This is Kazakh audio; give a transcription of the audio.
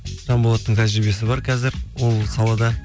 жанболаттың тәжірибесі бар қазір ол салада